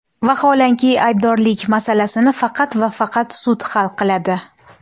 Vaholanki, aybdorlik masalasini faqat va faqat sud hal qiladi.